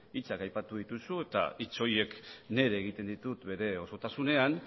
hitzak aipatu dituzu eta hitz horiek nire egiten ditut bere osotasunean